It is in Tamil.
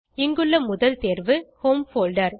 இங்குள்ள முதல் தேர்வு ஹோம் போல்டர்